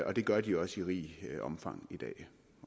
og det gør de også i rigt omfang i dag